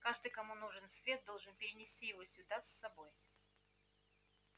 каждый кому нужен свет должен принести его сюда с собой